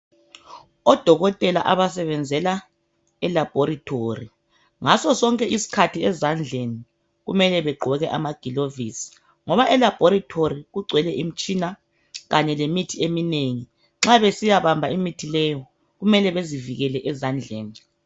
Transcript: Odokotela abasebenzela elabhorithori ngasosonke isikhathi ezandleni kumele begqoke amagilovisi ngoba elabhorithori kugcwele imitshina kanye lemithi eminengi nxa besiya bamba imithi leyo kumele bezivikele ezandleni.